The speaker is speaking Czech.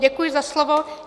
Děkuji za slovo.